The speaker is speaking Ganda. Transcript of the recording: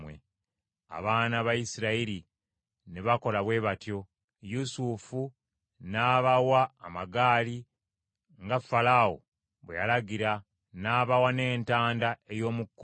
Abaana ba Isirayiri ne bakola bwe batyo; Yusufu n’abawa amagaali, nga Falaawo bwe yalagira n’abawa n’entanda ey’omu kkubo.